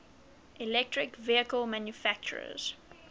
electric vehicle manufacturers